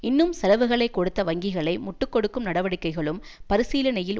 இன்னும் செலவுகளை கொடுத்த வங்கிகளை முட்டு கொடுக்கும் நடவடிக்கைகளும் பரிசீலனையில்